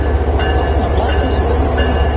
Öll opna blaðsins undirlögð!